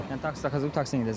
Yəni taksidə taksi ilə gedəcəm.